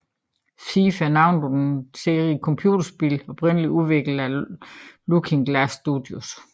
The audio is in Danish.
Thief er navnet på en serie computerspil oprindeligt udviklet af Looking Glass Studios